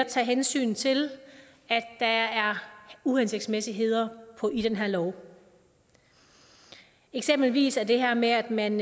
tager hensyn til at der er uhensigtsmæssigheder i den her lov eksempelvis er det her med at man